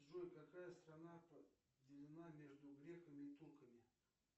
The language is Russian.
джой какая страна поделена между греками и турками